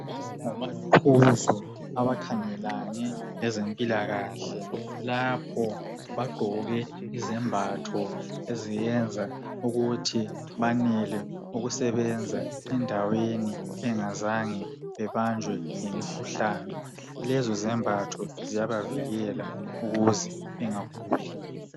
Ngomaqhuzu abakhangelane lezempilakahle. Lapho bagqoke izembatho eziyenza ukuthi banele ukusebenza endaweni, bengazanga babanjwe yimikhuhlane. Lezozembatho ziyabavikela, ukuze bengaguli.